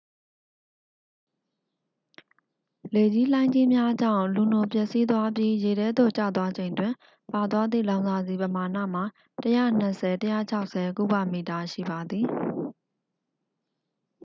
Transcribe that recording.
လေကြီးလှိုင်းကြီးများကြောင့် လူနို ပျက်စီးသွားပြီး ရေထဲသို့ ကျသွားချိန်တွင် ပါသွားသည့် လောင်စာဆီ ပမာဏမှာ 120-160 ကုဗမီတာ ရှိပါသည်